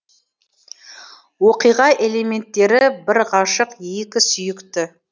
оқиға элементтері бір ғашық екі сүйікті